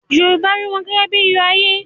Yorùbá rí wọn gẹ́gẹ́ bí i iyọ̀ ayé.